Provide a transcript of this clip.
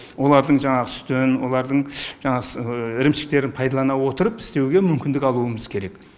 олардың жаңағы сүтін олардың жаңағы ірімшіктерін пайдалана отырып істеуге мүмкіндік алуымыз керек